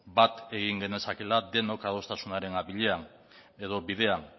bat egin genezakeela denok adostasunaren bidean